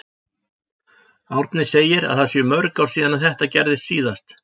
Árni segir að það séu mörg ár síðan þetta gerðist síðast.